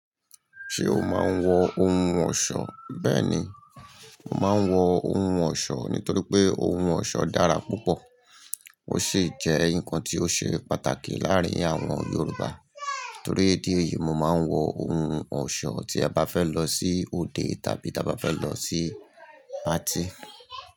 Ṣé o máa ń wọ ohun ọ̀ṣọ́? Bẹ́ẹ̀ni, mo máa ń wọ ohun ọ̀ṣọ́ nítorí pé ohun ọ̀ṣọ́ dára púpọ̀. Ó sì jẹ́ nǹkan tí ó ṣe pàtàkì láàárín àwọn Yoruba. Tori idi eyìí mo máa ń wọ ohun ọ̀ṣọ́ tí a bá fẹ́ lọ sí òde tàbí ta bá fẹ́ lọ sí patí.